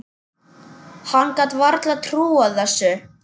Hann gat varla trúað þessu.